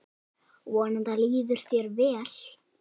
Vonandi líður þér vel.